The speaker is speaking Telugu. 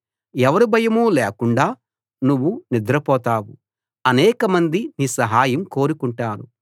ఎవరి భయమూ లేకుండా నువ్వు నిద్రపోతావు అనేకమంది నీ సహాయం కోరుకుంటారు